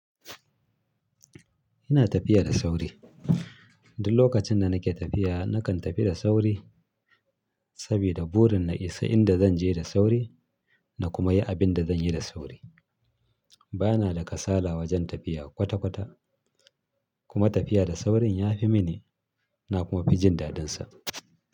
Ina tafiya da sauri. Duk lokacin da nake tafiya nakan tafi da sauri sabida burin na isa inda zan je da sauri na kuma yi abin da zan yi da sauri. Bana da kasala wajen tafiya kwata-kwata kuma tafiya da saurin ya fi mini na kuma fi jin dadin sa.